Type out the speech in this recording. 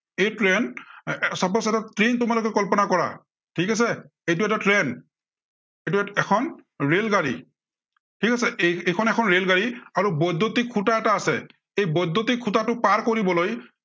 এই trainsuppose এটা train তোমালোকে কল্পনা কৰা। ঠিক আছে, এইটো এটা train এইটো এইখন এখন ৰেলগাড়ী। ঠিক আছে, এইখন এখন ৰেলগাড়ী। আৰু বৈদ্য়ুতিক খুটা এটা আছে। এই বৈদ্য়ুতিক খুটাটো পাৰ কৰিবলৈ